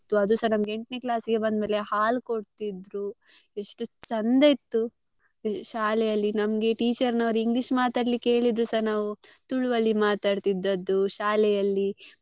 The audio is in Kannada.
ಅದುಸ ನಮ್ಗೆ ಎಂಟ್ನೇ ಕ್ಲಾಸಿಗೆ ಬಂದ್ಮೇಲೆ ಹಾಲ್ ಕೊಡ್ತಿದ್ರು ಎಷ್ಟು ಚೆಂದ ಇತ್ತು ಶಾಲೆಯಲ್ಲಿ ನಮ್ಗೆ teacher ನವ್ರು English ಮಾತಾಡ್ಲಿಕ್ಕೆ ಹೇಳಿದ್ರುಸ ನಾವ್ ತುಳುವಲ್ಲಿ ಮಾತಾಡ್ತಿದ್ದದ್ದು ಶಾಲೆಯಲ್ಲಿ.